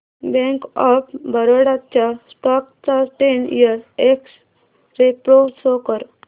bank of Baroda च्या stock चा ten year X ray pro show कर